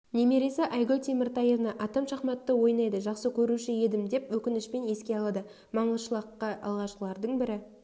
немересі айгуль темиртаевна атам шахматты ойнайды жақсы көруші едім деп өкінішпен еске алады маңғышлаққа алғашқылардың бірі